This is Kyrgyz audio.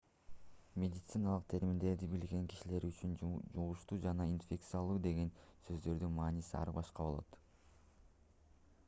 медициналык терминдерди билбеген кишилер үчүн жугуштуу жана инфекциялуу деген сөздөрдүн мааниси ар башка болот